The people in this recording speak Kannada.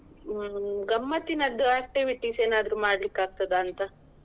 ಹ್ಮ್ ಗಮ್ಮತ್ತಿನದ್ದು activities ಏನಾದ್ರು ಮಾಡ್ಲಿಕ್ಕೆ ಆಗ್ತದ ಅಂತ.